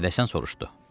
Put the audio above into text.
Məşədə Həsən soruşdu: